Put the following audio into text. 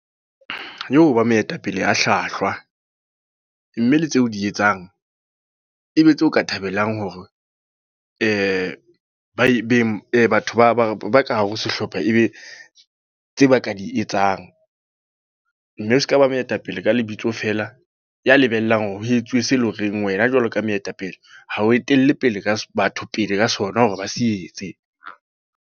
ba moetapele ya hlwahlwa. Mme le tseo di etsang, ebe tseo o ka thabelang hore batho ba ka hare ho sehlopha ebe tse ba ka di etsang. Mme o seka ba mooetapele ka lebitso fela. Ya lebellang hore ho etsuwe se eleng horeng wena jwalo ka moetapele, ha o etelle pele batho pele ka sona hore ba se etse.